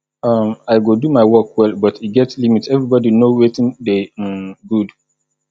um i go do my work well but e get limit everybody no wetin dey um good